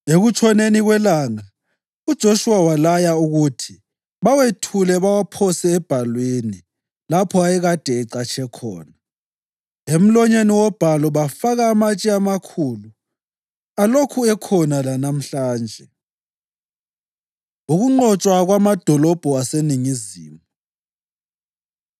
Ekutshoneni kwelanga uJoshuwa walaya ukuthi bawethule bawaphose ebhalwini lapho ayekade ecatshe khona. Emlonyeni wobhalu bafaka amatshe amakhulu alokhu ekhona lanamhlanje. Ukunqotshwa Kwamadolobho Aseningizimu